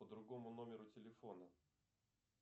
по другому номеру телефона